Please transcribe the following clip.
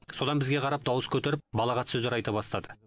содан бізге қарап дауыс көтеріп балағат сөздер айта бастады